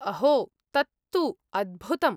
अहो, तत्तु अद्भुतम्।